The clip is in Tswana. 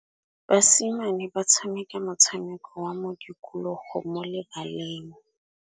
Basimane ba tshameka motshameko wa modikologô mo lebaleng.